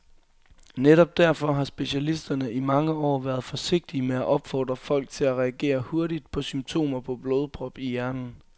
Netop derfor har specialisterne i mange år været forsigtige med at opfordre folk til at reagere hurtigt på symptomer på blodprop i hjernen.